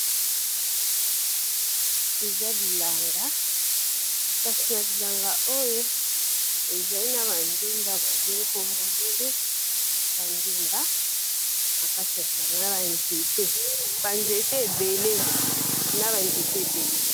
Eza bilanga kasi na bilanga oyo ezali na ba ndunda ba bengi na kombo chou, ba ndunda na kati ya bilanga na ba nzete ébélé.